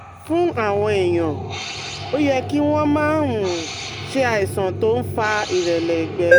Fún àwọn èèyàn, ó yẹ kí wọ́n máa um ṣe àìsàn tó ń fa ìrẹ̀lẹ̀ ẹ̀gbẹ́